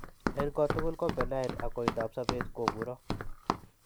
Eng' kot tugul ko benign ak koindoap sobet ko muro.